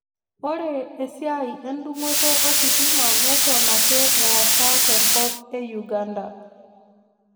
Ore esiai endung'oto ositima neton ake eesa tenkop e Uganda